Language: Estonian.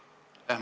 Aitäh!